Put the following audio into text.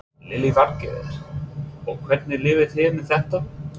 Lillý Valgerður: Og hvernig líður þér með þetta?